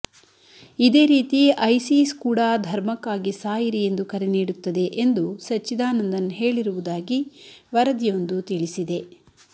ಇದೇ ರೀತಿ ಐಸಿಸ್ಕೂಡಾ ಧರ್ಮಕ್ಕಾಗಿ ಸಾಯಿರಿ ಎಂದು ಕರೆ ನೀಡುತ್ತದೆ ಎಂದು ಸಚ್ಚಿದಾನಂದನ್ ಹೇಳಿರುವುದಾಗಿ ವರದಿಯೊಂದು ತಿಳಿಸಿದೆ